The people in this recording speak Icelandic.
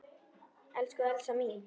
Elsku Elsa mín.